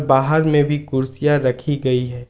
बाहर में भी कुर्सियां रखी गई हैं।